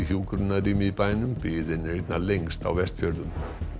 hjúkrunarrými í bænum biðin er einna lengst á Vestfjörðum